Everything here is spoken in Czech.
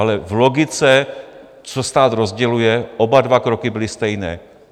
Ale v logice, co stát rozděluje, oba dva kroky byly stejné.